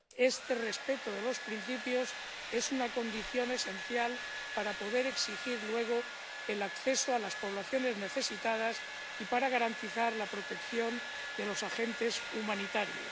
El respeto de estos principios es una condición esencial para poder exigir luego el acceso a las poblaciones necesitadas y para garantizar la protección de los agentes humanitarios.